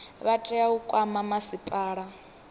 vha tea u kwama masipala